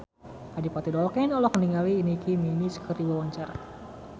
Adipati Dolken olohok ningali Nicky Minaj keur diwawancara